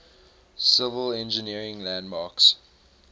civil engineering landmarks